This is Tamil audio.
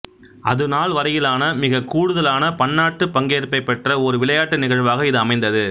அதுநாள்வரையிலான மிக கூடுதலான பன்னாட்டு பங்கேற்பைப் பெற்ற ஓர் விளையாட்டு நிகழ்வாக இது அமைந்தது